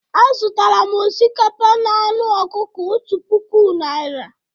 Azụtara m osikapa na anụ ọkụkọ otu puku naira.